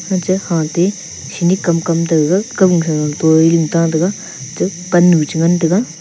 machu hah ti hini kam kam taga kam thaga pannu cha ngan taga.